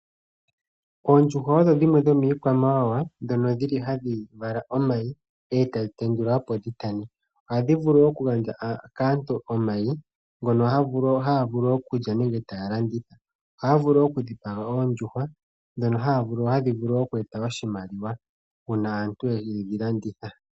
Oondjuhwa odho dhimwe dhomiikwamawawa dhono dhili hadhi li omayi e tadhi tendula opo dhitane, ohadhi vulu okugandja kaantu omayi mpono haya vulu okulya nenge taya landitha, ohaya vulu wo okudhipaga oondjuhwa dhono hadhi vulu oku eta oshimaliwa uuna aantu yedhi landitha.